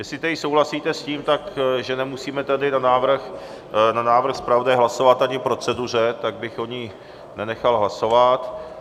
Jestli tedy souhlasíte s tím, že nemusíme tady na návrh zpravodaje hlasovat ani k proceduře, tak bych o ní nenechal hlasovat.